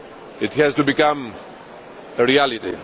it has to become a reality.